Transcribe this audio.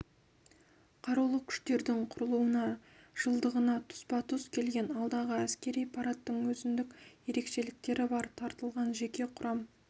қарулы күштердің құрылуының жылдығына тұспа-тұс келген алдағы әскери парадтың өзіндік ерекшеліктері бар тартылған жеке құрам